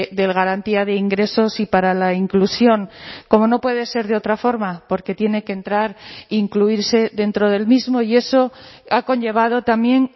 de garantía de ingresos y para la inclusión como no puede ser de otra forma porque tiene que entrar incluirse dentro del mismo y eso ha conllevado también